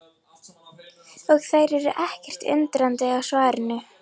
Og þær eru ekkert undrandi á svarinu.